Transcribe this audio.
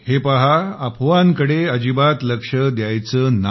हे पहा अफवांकडे अजिबात लक्ष द्यायचं नाही